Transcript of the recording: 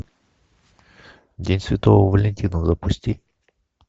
день святого валентина запусти